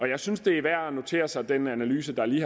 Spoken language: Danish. jeg synes det er værd at notere sig den analyse der lige